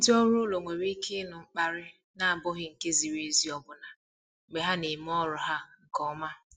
Ndị ọrụ ụlọ nwere ike ịnụ mkparị na-abụghị nke ziri ezi ọbụna mgbe ha na-eme ọrụ ha nke ọma.